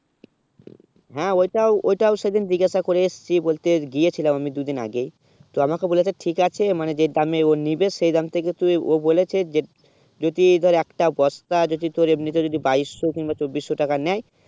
হেঁ ওটাও ওটাও সে দিন জিজ্ঞাসা করে এসেছি বলতে গিয়ে ছিলাম আমি দুই দিন আগে ই তো আমাকে কে বলেছে ঠিক আছে মানে যে দামে ও নিবে সেই দাম থেকে তুই ও বলেছে যদি ধর একটা বস্তা যদি তোর এমনি তে বাইশ সো বা চবিস সো টাকা নেই